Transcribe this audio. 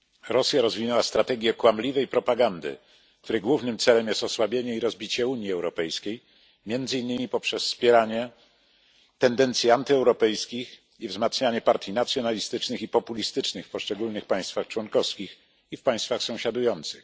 Rosja rozwinęła strategię kłamliwej propagandy, której głównym celem jest osłabienie i rozbicie Unii Europejskiej, między innymi przez wspieranie tendencji antyeuropejskich i wzmacnianie partii nacjonalistycznych i populistycznych w poszczególnych państwach członkowskich i w państwach sąsiadujących.